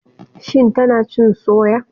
Shin tana cin soya?